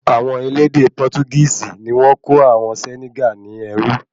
Awọn elédè Portugisi ní wọ́n kó àwọn Senegal ní ẹrú